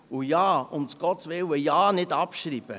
Und, um Gottes Willen, ja nicht abschreiben!